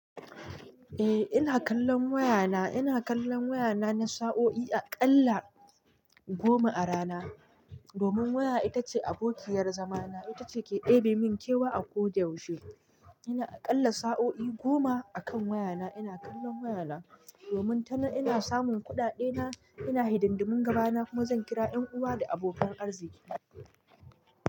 Eh ina kallon wayana, ina kallon wayana na sa'o'i aƙalla goma a rana. Domin waya ita ce abokiyar zamana, ita ce ke ɗebe mun kewa a ko da yaushe. Ina aƙalla sa'o'i goma akan wayana. Ina kallon wayana domin tana ina samun kuɗaɗe na, ina hidandumin gabana kuma zan kira 'yan uwa da abokan arziqi na.